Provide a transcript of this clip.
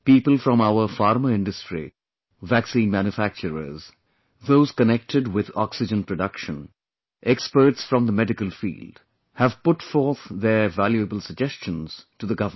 People from our Pharma industry, vaccine manufacturers, those connected with oxygen production, experts from the medical field have put forth their valuable suggestions to the government